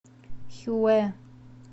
хюэ